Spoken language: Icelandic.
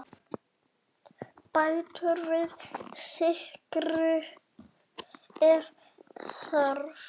Bættu við sykri ef þarf.